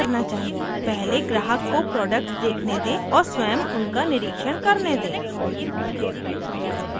पहले ग्राहक को प्रोडक्ट्स देखने दें और स्वम उनका निरिक्षण करने दें